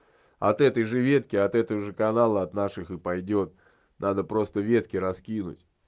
от этой же ветки от этого же канала от наших и пойдёт надо просто ветки раскинуть